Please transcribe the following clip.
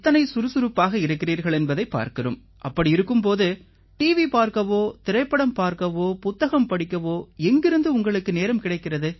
சுறுசுறுப்பாக இருக்கிறீர்கள் என்பதைப் பார்க்கிறோம் அப்படி இருக்கும் போது டிவி பார்க்கவோ திரைப்படம் பார்க்கவோ புத்தகம் படிக்கவோ எங்கிருந்து உங்களுக்கு நேரம் கிடைக்கிறது